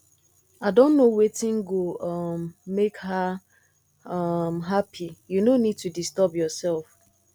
i don know wetin go um make her um happy you no need to disturb yourself